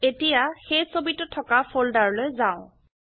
এতিয়া সেই ছবিটো থকা ফোল্ডাৰলৈ যাও